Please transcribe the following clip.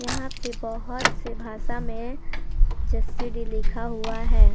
यहां पे बहोत से भाषा में जसीडीह लिखा हुआ है।